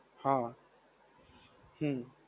હા. હમ્મ.